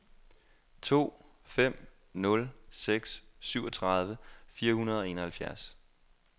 to fem nul seks syvogtredive fire hundrede og enoghalvfjerds